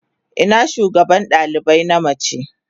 Ina shugabar dalibai na mace?